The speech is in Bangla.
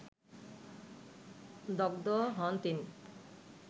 দগ্ধ হন তিন